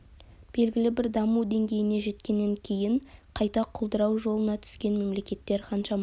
белгілі бір даму деңгейіне жеткеннен кейін қайта құлдырау жолына түскен мемлекеттер қаншама